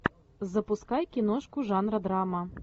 запускай киношку жанра драма